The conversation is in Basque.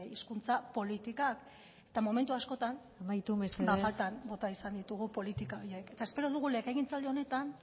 hizkuntza politika eta momentu askotan amaitu mesedez faltan bota izan ditugu politika horiek eta espero dugu legegintzaldi honetan